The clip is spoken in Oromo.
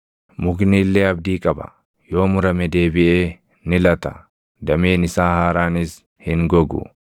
“Mukni illee abdii qaba: Yoo murame deebiʼee ni lata; dameen isaa haaraanis hin gogu.